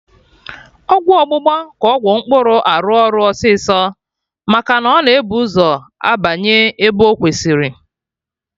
Ọgwụ ọgbụgba ka Ọgwụ mkpụrụ arụ ọrụ ọsịsọ maka na ọ na-ebu ụzọ abanye ebe ọ kwesịrị